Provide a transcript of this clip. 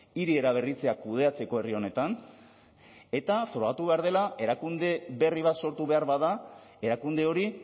hiri eraberritzea kudeatzeko herri honetan eta frogatu behar dela erakunde berri bat sortu behar bada erakunde hori